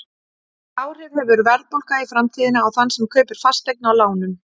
Hvaða áhrif hefur verðbólga í framtíðinni á þann sem kaupir fasteign á lánum?